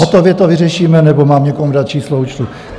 Hotově to vyřešíme, nebo mám někomu dát číslo účtu?